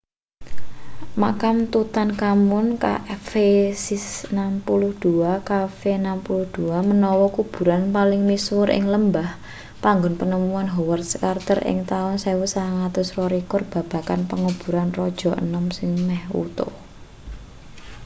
makam tutankhamun kv62. kv62 menawa kuburan paling misuwur ing lembah panggon panemuan howard carter ing taun 1922 babagan penguburan raja enom sing meh wutuh